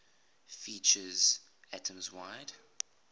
features atoms wide